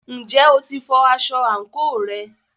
Ǹjẹ́ o ti fọ aṣọ àǹkóò rẹ?